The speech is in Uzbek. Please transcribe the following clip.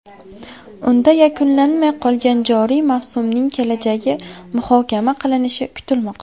Unda yakunlanmay qolgan joriy mavsumning kelajagi muhokama qilinishi kutilmoqda.